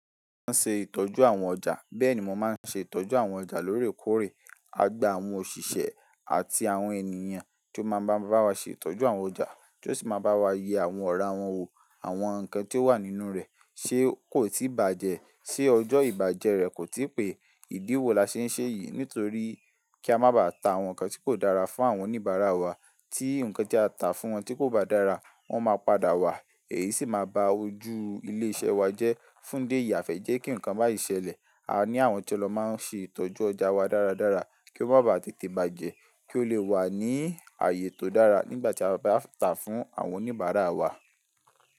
Maa n ṣe ìtọ́jú àwọn ọjà, bẹ́ẹ̀ ni mo máa n ṣe ìtọ́jú àwọn ọjà lórèkórè. A gba àwọn òṣìṣẹ́ àti àwọn ènìyàn tí ó máa bá wa ṣe ìtọ́jú àwọn ọjà, tí ó sì máa bá wa yẹ àwọn ọ̀rá wọn wò, àwọn nǹkan tí ó wà nínú rẹ̀, ṣe kò tí bàjẹ́, ṣe ọjọ́ ìbàjẹ́ rẹ̀ kò tí pẹ́. Ìdí wo la ṣe n ṣe yìí? Nítorí kí a má bà tà àwọn nǹkan tí kò dára fún àwọn oníbàárà wa. Tí nǹkan tí a tà fún wọn tí kò bá dára, wọ́n máa padà wá, èyí sì máa ba ojú ilé iṣẹ́ wa jẹ́. Fún idi eyi a fe jẹ́ kí nǹkan bái ṣẹ̀lẹ̀, a ní àwọn tí o lọ máa n ṣe ìtọ́jú ọjà wa dáradára kí ó má bá tètè bàjẹ́, kí ó lè wà ní àyè tó dára nígbà tí a bá tà fún àwọn oníbàárà wa.